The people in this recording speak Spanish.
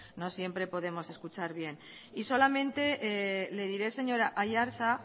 no siempre podemos escuchar bien y solamente le diré señor aiartza